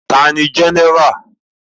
Ta ni Jẹ́nẹ́rà?